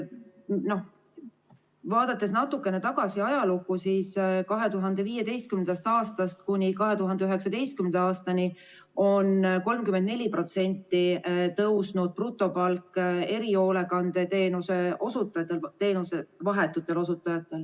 Kui vaadata natukene tagasi ajalukku, siis 2015. aastast kuni 2019. aastani on erihoolekandeteenuse vahetute osutajate brutopalk tõusnud 34%.